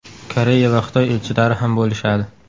Koreya va Xitoy elchilari ham bo‘lishadi.